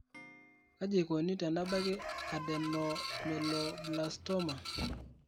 kaji eikoni tenebaki Adenoameloblastoma?